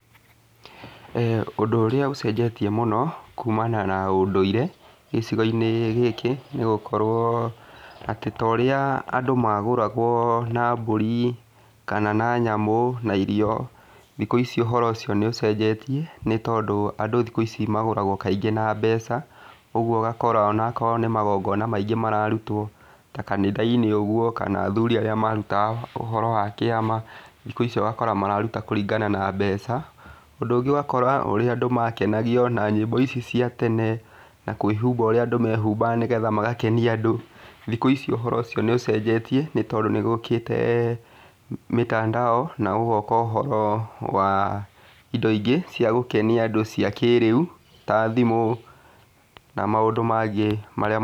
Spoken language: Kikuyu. eeh Ũndũ ũrĩa ũcenjetie mũno, kumana na ũndũire, gĩcigo-inĩ gĩkĩ, nĩ gũkorwo atĩ ta ũrĩa andũ magũragwo na mbũri, kana na nyamũ, na irio. Thikũ ici ũhoro ũcio nĩ ũcenjetie, nĩ tondũ andũ thikũ ici magũragwo kaingĩ na mbeca, ũguo ũgakora ona akorwo nĩ magongona maingĩ mararutwo ta kanitha-inĩ ũguo, kana athuri arĩa marutaga ũhoro wa kĩama, thikũ ici ũgakora mararuta kũringana na mbeca. Ũndũ ũngĩ ũgakora ũrĩa andũ makenagio na nyĩmbo ici cia tene, na kwĩhumba ũrĩa andũ mehumbaga nĩgetha magakenia andũ, thikũ ici ũhoro ũcio nĩ ũcenjetie, nĩ tondũ nĩ gũkĩte mitandao, na gũgoka ũhoro wa indo ingĩ cia gũkenia andũ cia kĩrĩu, ta thimũ, na maũndũ mangĩ marĩa...